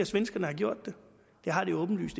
svenskerne har gjort det det har det jo åbenlyst